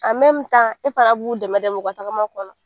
e fana b'u dɛmɛ dɛmɛ u ka tagama kɔnɔ.